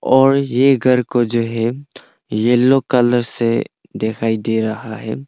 और ये घर को जो है येलो कलर से दिखाई दे रहा है।